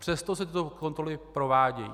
Přesto se tyto kontroly provádějí.